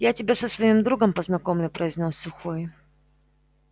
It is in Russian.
я тебя со своим другом познакомлю произнёс сухой